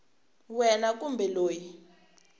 wena kumbe loyi u n